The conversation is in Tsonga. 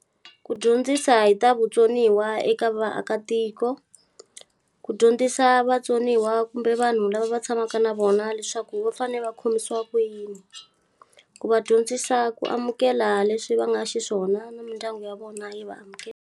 Ku dyondzisa hi ta vutsoniwa eka vaakatiko, ku dyondzisa vatsoniwa kumbe vanhu lava va tshamaka na vona leswaku va fanele va khomisiwa ku yini. Ku va dyondzisa ku amukela leswi va nga xiswona na mindyangu ya vona yi va amukela.